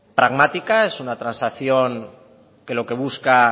pragmática es una transacción que lo que busca